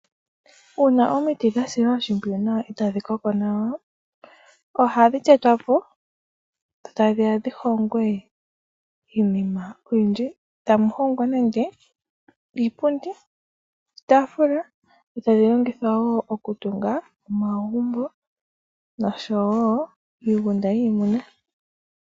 Uuna omiti dha silwa oshimpwiyu nawa eta dhi koko ohadhi tetwa po dho tadhi ya dhi hongwe iinima oyindji. Tamu hongwa nenge iipundi, iitaafula. Dho tadhi longithwa wo okutunga omagumbo nosho wo iigunda yiimuna.